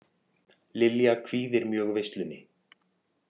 Lilja kvíðir mjög veislunni